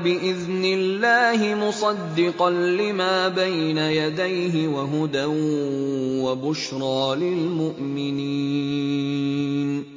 بِإِذْنِ اللَّهِ مُصَدِّقًا لِّمَا بَيْنَ يَدَيْهِ وَهُدًى وَبُشْرَىٰ لِلْمُؤْمِنِينَ